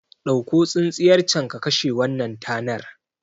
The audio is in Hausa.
Ɗauko tsintsiyar can ka kashe wannan tanar